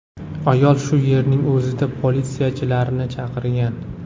Ayol shu yerning o‘zida politsiyachilarni chaqirgan.